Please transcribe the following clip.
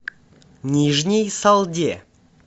нижней салде